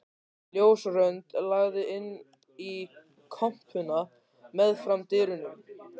Ljósrönd lagði inn í kompuna meðfram dyrunum.